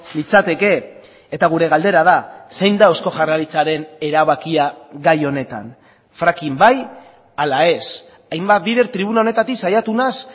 litzateke eta gure galdera da zein da eusko jaurlaritzaren erabakia gai honetan fracking bai ala ez hainbat bider tribuna honetatik saiatu naiz